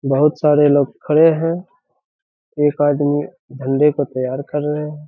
बहुत सारे लोग खड़े हैं एक आदमी झंडे को तैयार कर रहे हैं।